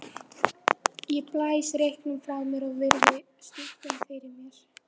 Ég blæs reyknum frá mér og virði stubbinn fyrir mér.